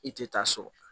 I tɛ taa so